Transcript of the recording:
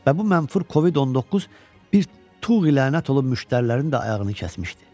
Və bu mənfur Covid-19 bir tuğyi lənət olub müştərilərin də ayağını kəsmişdi.